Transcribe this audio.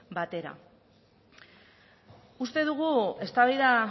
batera uste dugu eztabaida